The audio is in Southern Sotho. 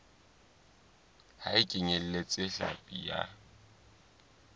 ha e kenyeletse hlapi ya